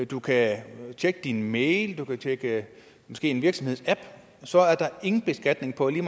du kan tjekke din mail du kan måske tjekke en virksomhedsapp så er der ingen beskatning på lige